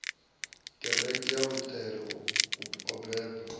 kereke ya luṱere o beba